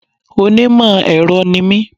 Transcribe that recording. Onímò èro ni mí